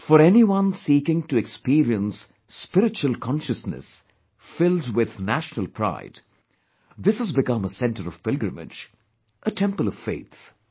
For anyone seeking to experience spiritual consciousness filled with national pride, this has become a centre of pilgrimage, a temple of faith